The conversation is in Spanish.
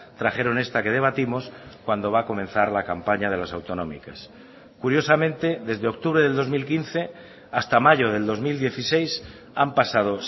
trajeron esta que debatimos cuando va a comenzar la campaña de las autonómicas curiosamente desde octubre del dos mil quince hasta mayo del dos mil dieciséis han pasado